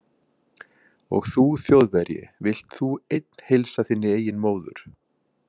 Og þú Þjóðverji, vilt þú einn heilsa þinni eigin móður